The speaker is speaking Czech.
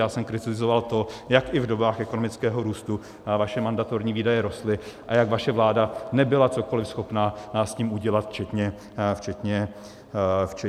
Já jsem kritizoval to, jak i v dobách ekonomického růstu vaše mandatorní výdaje rostly a jak vaše vláda nebyla cokoliv schopna s tím udělat, včetně důchodové reformy.